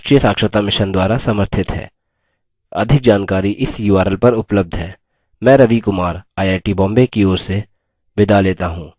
अधिक जानकारी इस url पर उबलब्ध है